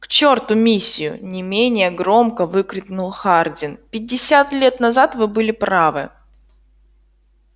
к чёрту миссию не менее громко выкрикнул хардин пятьдесят лет назад вы были правы